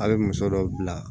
A' be muso dɔ bila